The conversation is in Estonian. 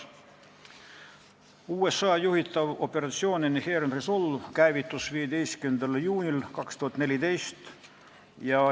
USA juhitav operatsioon Inherent Resolve käivitus 15. juunil 2014.